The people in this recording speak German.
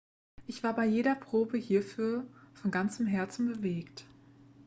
ich war bei jeder probe hierfür von ganzem herzen bewegt